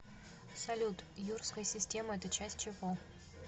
салют юрская система это часть чего